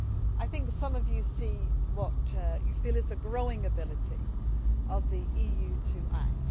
I think some of you see what you feel is a growing ability of the EU to act.